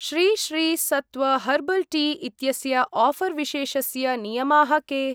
Shri Shri Sattva herbal tea इत्यस्य offer विशेषस्य नियमाः के?